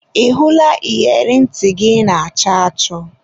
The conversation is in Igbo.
Ị hụla iyeri ntị gị ị na-achọ achọ?